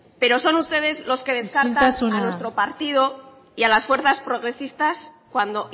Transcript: pero son ustedes los que descartan a nuestro partido isiltasuna y a las fuerzas progresistas cuando